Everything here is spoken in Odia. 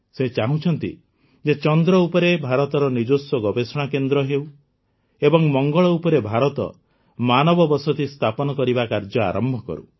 ସେ ଚାହୁଁଛନ୍ତି ଯେ ଚନ୍ଦ୍ର ଉପରେ ଭାରତର ନିଜସ୍ୱ ଗବେଷଣା କେନ୍ଦ୍ର ହେଉ ଏବଂ ମଙ୍ଗଳ ଉପରେ ଭାରତ ମାନବବସତି ସ୍ଥାପନ କରିବା କାର୍ଯ୍ୟ ଆରମ୍ଭ କରୁ